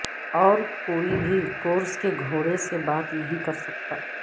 اور کوئی بھی کورس کے گھوڑے سے بات نہیں کرسکتا